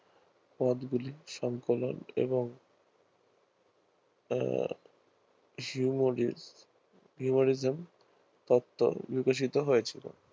পদগুলির সংক্রমণ হম humanism তত্ত্ব বিকশিত হয়েছিল